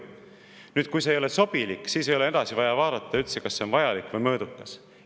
Nüüd, kui see ei ole sobilik, siis ei ole vaja üldse vaadata, kas see on vajalik ja mõõdukas.